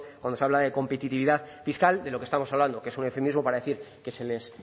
cuándo se habla de competitividad fiscal de lo que estamos hablando que es un eufemismo para decir que se les